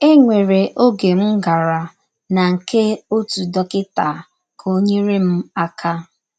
E nwere ọge m gara na nke ọtụ dọkịta ka ọ nyere m aka.